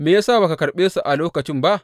Me ya sa ba ka karɓe su a lokacin ba?